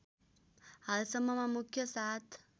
हालसम्ममा मुख्य सात